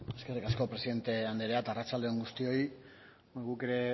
eskerrik asko presidente anderea eta arratsalde on guztioi guk ere